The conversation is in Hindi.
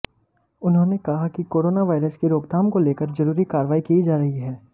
उन्होंने कहा कि कोरोना वायरस की रोकथाम को लेकर जरूरी कार्रवाई की जा रही है